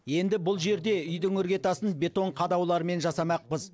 енді бұл жерде үйдің іргетасын бетон қадаулармен жасамақпыз